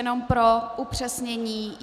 Jenom pro upřesnění.